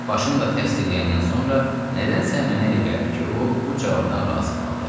Başımla təsdiqləyəndən sonra nədənsə mənə elə gəldi ki, o, bu cavabdan razı qaldı.